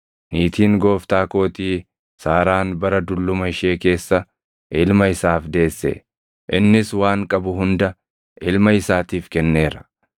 Niitiin gooftaa kootii Saaraan bara dulluma ishee keessa ilma isaaf deesse; innis waan qabu hunda ilma isaatiif kenneera.